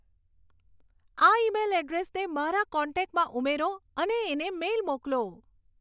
આ ઈમેઈલ એડ્રેસને મારા કોન્ટેક્ટમાં ઉમેરો અને એને મેઈલ મોકલો